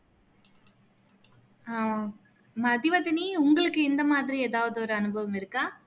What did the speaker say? அஹ் மதிவதனி உங்களுக்கு இந்த மாதிரி எதாவது ஒரு அனுபவம் இருக்கா